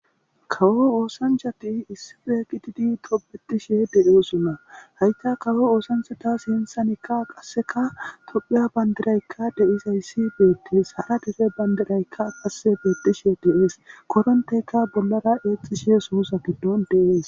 Kawo osanichati issipe gididi tobetishe deyosona hayisa kawo osanichata sinthanika qaseka tophphiya bandirayika deyidayisi betesi hara dere bandirayika betishe deyesi korenitetika bollara sussa gido exishe deyesi